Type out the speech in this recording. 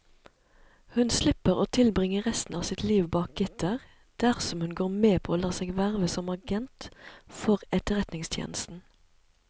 Hun slipper å tilbringe resten av sitt liv bak gitter dersom hun går med på å la seg verve som agent for etterretningstjenesten.